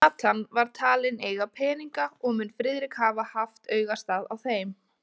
Nathan var talinn eiga peninga, og mun Friðrik hafa haft augastað á þeim.